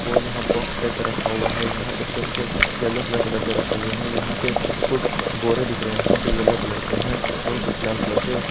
वो यह box type का रखा हुआ है यहां पे तेल के यलो कलर के डब्बे रखे हुए है यहां पे कुछ बोरे दिख रहे हैं जो यलो कलर के हैं और कुछ लाल कलर के।